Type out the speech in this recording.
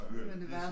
Men det var